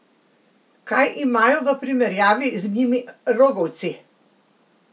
Kaj imajo v primerjavi z njimi rogovci?